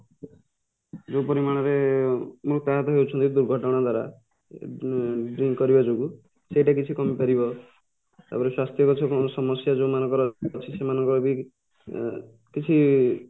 ଯୋଉ ପରିମାଣରେ ମୃତାହତ ହଉଛନ୍ତି ଦୁର୍ଘଟଣା ଦ୍ଵାରା ଉଁ drink କରିବା ଯୋଗୁଁ ସେଇଟା କିଛି କମିପାରିବ ତାପରେ ସ୍ୱାସ୍ଥ୍ୟଗତ ସମସ୍ୟା ଯୋଉ ମାନଙ୍କର ଅଛି ସେମାଙ୍କରବି ଏଁ କିଛି